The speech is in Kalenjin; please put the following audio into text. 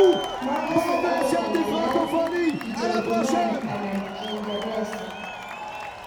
makose akot ang'alan Kijerumani anan kiingeresek